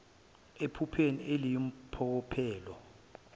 ephupheni eliyi mpokophelelo